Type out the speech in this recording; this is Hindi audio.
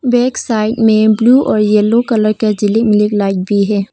बैक साइड में ब्लू और येलो कलर का लाइट भी है।